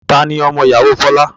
Tani ọmọ ìyàwó Folá?